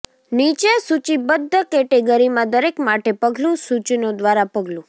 નીચે સૂચિબદ્ધ કેટેગરીમાં દરેક માટે પગલું સૂચનો દ્વારા પગલું